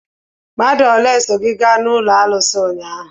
Mmadụ ole so gị gaa n'ụlọ arụsị ụnyaahụ?